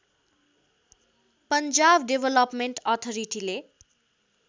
Punjab development अथरिटीले